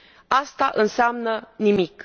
Aceasta înseamnă nimic.